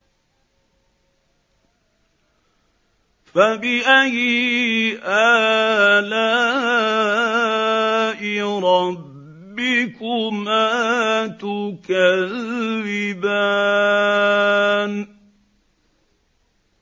فَبِأَيِّ آلَاءِ رَبِّكُمَا تُكَذِّبَانِ